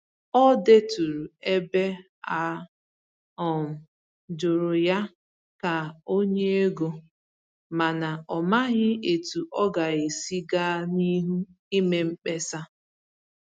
Ọ dèturu ebe a um jụrụ̀ ya ka o nye égo, mana ọ màghị etu ọ ga-esi gaa n'ihu ime mkpesa.